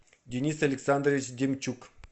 денис александрович демчук